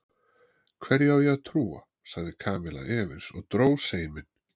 Hverju á ég að trúa? sagði Kamilla efins og dró seiminn.